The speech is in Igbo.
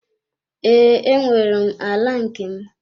Ee, enwere m ala nke m.